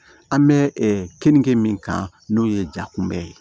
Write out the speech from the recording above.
An bɛ kenige min kan n'o ye jakunbɛ ye